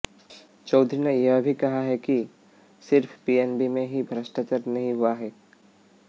चौधरी ने यह भी कहा कि सिर्फ पीएनबी में ही भ्रष्टाचार नहीं हुआ है